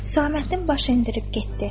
Susaməddin baş endirib getdi.